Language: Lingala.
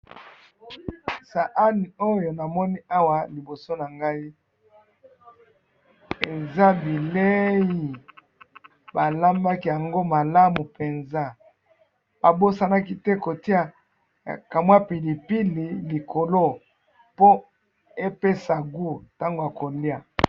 saani oyo na moni awa na liboso na ngayi eza bileyi ba lambaki yango malamu penza ba bosanaki te ko tia ka mua pilipili liboso nango e'pesa mua gout na tango yako lia